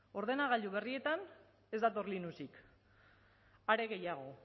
ordenagailu berrieta ez dator linuxik are gehiago